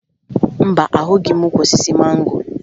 Mba, ahụghị m ukwu osisi mango